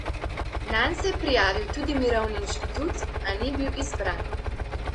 Nanj se je prijavil tudi Mirovni inštitut, a ni bil izbran.